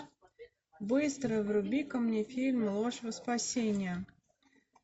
быстро вруби ка мне фильм ложь во спасение